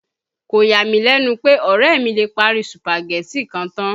Kò yà mí lẹ̀nu pè, ọ̀rẹ́ mi lè parí Sùpàgẹ́tì kan tán